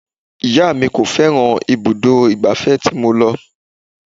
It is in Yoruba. Ìyá mi kò fẹ́ràn ibùdó ìgbà fẹ́ tí mo lọ.